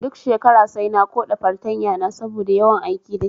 Duk shekara sai na koɗa fartanya na saboda yawan aiki dashi